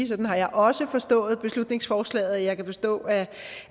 sådan har jeg også forstået beslutningsforslaget og jeg kan forstå